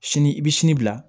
Sini i bɛ sini bila